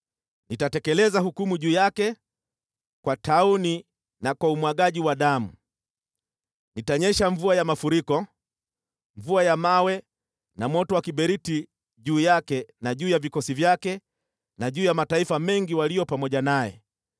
Nitatekeleza hukumu juu yake kwa tauni na kwa umwagaji wa damu. Nitaifanya mvua ya mafuriko kunyesha, mvua ya mawe na moto wa kiberiti juu yake na juu ya vikosi vyake na juu ya mataifa mengi walio pamoja naye.